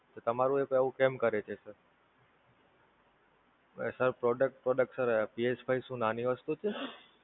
તો તમારું App આવું કેમ કરે છે Sir? Sir Product Product SirPSFive શું નાની વસ્તુ છે?